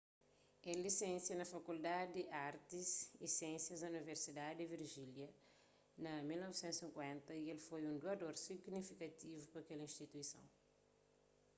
el lisensia na fakuldadi di artis y siénsias di universidadi di virjínia na 1950 y el foi un duador signifikativu pa kel instituison